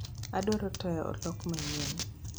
Adwaro taya, oloke mang'eny